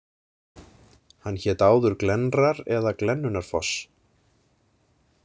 Hann hét áður Glennrar eða Glennunarfoss.